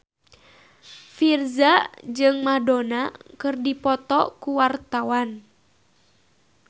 Virzha jeung Madonna keur dipoto ku wartawan